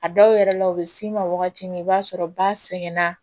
A dɔw yɛrɛ la u bɛ s'i ma wagati min i b'a sɔrɔ ba sɛgɛnna